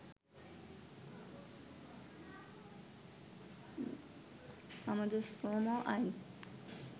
“আমাদের শ্রম আইন